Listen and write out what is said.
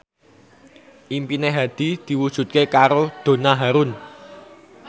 impine Hadi diwujudke karo Donna Harun